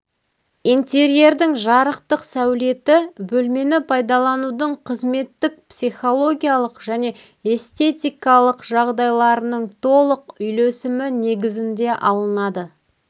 интерьердің жарықтық сәулеті бөлмені пайдаланудың қызметтік психологиялық және эстетикалық жағдайларының толық үйлесімі негізінде алынады